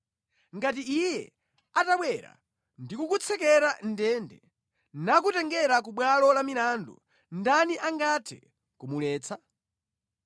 “Ngati Iye atabwera ndi kukutsekera mʼndende nakutengera ku bwalo la milandu, ndani angathe kumuletsa?